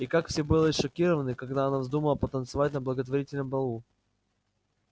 и как все были шокированы когда она вздумала потанцевать на благотворительном балу